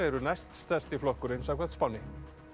eru næst stærsti flokkurinn samkvæmt spánni